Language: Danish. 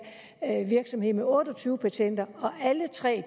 en lille virksomhed med otte og tyve patenter alle tre